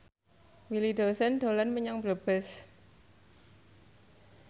Willy Dozan dolan menyang Brebes